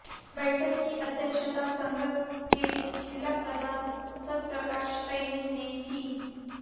बैठक की अध्यक्षता संघ के जिला प्रधान सतप्रकाश सैनी ने की